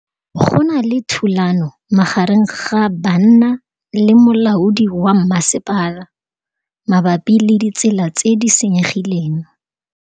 Go na le thulanô magareng ga banna le molaodi wa masepala mabapi le ditsela tse di senyegileng.